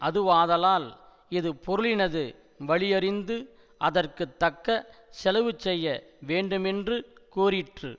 அதுவாதலால் இது பொருளினது வலியறிந்து அதற்கு தக்க செலவுசெய்ய வேண்டுமென்று கூறிற்று